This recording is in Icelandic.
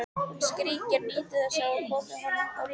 Hún skríkir, nýtur þess að hafa komið honum úr jafnvægi.